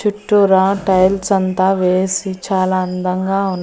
చుట్టూరా టైల్స్ అంతా వేసి చాలా అందంగా ఉన్--